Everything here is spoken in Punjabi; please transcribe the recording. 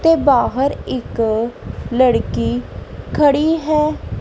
ਤੇ ਬਾਹਰ ਇੱਕ ਲੜਕੀ ਖੜੀ ਹੈ।